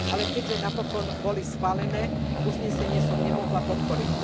Ale keďže napokon boli schválené, uznesenie som nemohla podporiť.